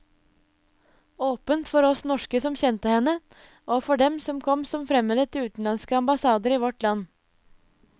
Åpent for oss norske som kjente henne, og for dem som kom som fremmede til utenlandske ambassader i vårt land.